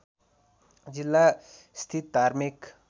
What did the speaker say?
जिल्ला स्थित धार्मिक